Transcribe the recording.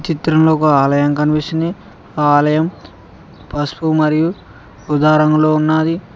చిత్రంలో ఒక ఆలయం కనిపిస్తుంది ఆ ఆలయం పసుపు మరియు ఉదా రంగులో ఉన్నది.